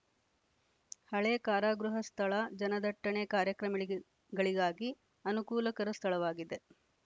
ಹಳೆ ಕಾರಾಗೃಹ ಸ್ಥಳ ಜನದಟ್ಟಣೆ ಕಾರ್ಯಕ್ರಮಳಿಗಳಿಗಾಗಿ ಅನುಕೂಲಕರ ಸ್ಥಳವಾಗಿದೆ